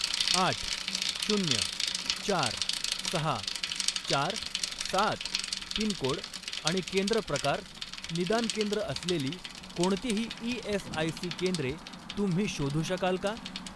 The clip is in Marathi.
आठ, शून्य, चार, सहा, चार, सात पिनकोड आणि केंद्र प्रकार निदान केंद्र असलेली कोणतीही ई.एस.आय.सी. केंद्रे तुम्ही शोधू शकाल का?